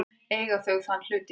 Eiga þau þann hlut í dag.